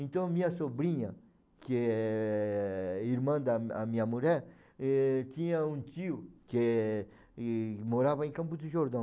Então minha sobrinha, que é irmã da a minha mulher, ãh, tinha um tio que é e morava em Campos do Jordão.